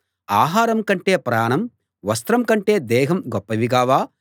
ఆహారం కంటే ప్రాణం వస్త్రం కంటే దేహం గొప్పవి కావా